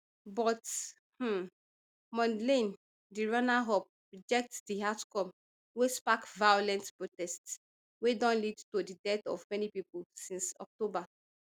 but um mondlane di runnerup reject di outcome wey spark violent protests wey don lead to di death of many pipo since october